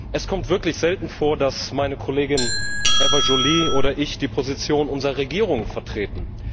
Es kommt wirklich selten vor, dass meine Kollegin Eva Joly oder ich die Positionen unserer Regierungen vertreten.